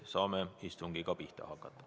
Saame istungiga pihta hakata.